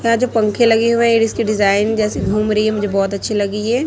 यहां जो पंखे लगे हुए इसके डिजाइन जैसे घूम रही है मुझे बहोत अच्छी लगी है।